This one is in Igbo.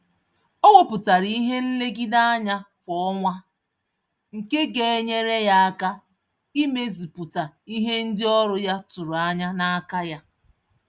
O wepụtara ihe nlegide-anya kwa ọnwa, nke genyere ya aka, imezu pụta ìhè ndị ọrụ ya tụrụ ányá n'aka ya